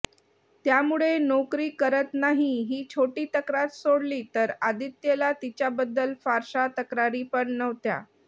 त्यामुळे नोकरी करत नाही ही छोटी तक्रार सोडली तर आदित्यला तिच्याबद्दल फारशा तक्रारीपण नव्हत्या